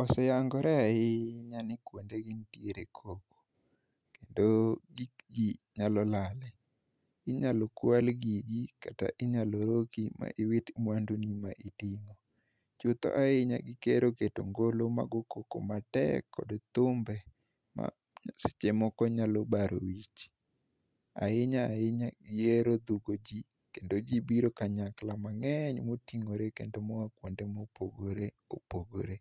Oseyangore ahinya ni kuondegi nitiere koko kendo gik ji nyalo lalie. Inyalo kual gigi kata inyalo roki ma iwit mwanduni ma iting'o. Chutho ahinya gihero keto ngolo magoyo koko matek kod thumbe maseche moko nyalo baro wich. Ahinya ahinya gihero dhungo ji kendo ji biro kanyakla mang'eny moting'ore kendo moa kuonde mopogore opogore.